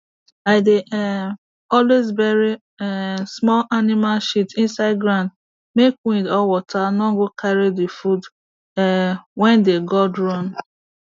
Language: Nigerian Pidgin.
i dey um always bury um small animal shit inside ground make wind or water no go carry the food um wey dey god run